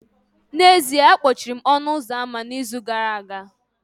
N'ezie, akpọchiri m ọnụ ụzọ ámá n'izu gara aga